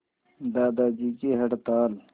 दादाजी की हड़ताल